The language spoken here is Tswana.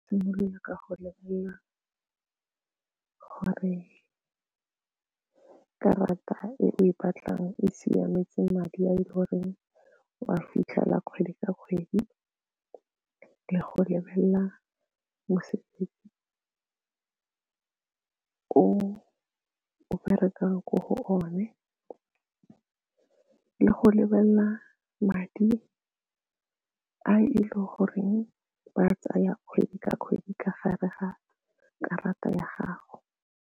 Simolola ka go lebelela gore karata e o e batlang e siametse madi a e le goreng o a fitlhela kgwedi ka kgwedi le go lebelela ko o bereka ko go o ne le go lebelela madi a e le goreng ba a tsaya kgwedi ka kgwedi ka gare ga karata ya gago.